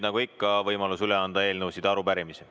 Nagu ikka, on nüüd võimalus üle anda eelnõusid ja arupärimisi.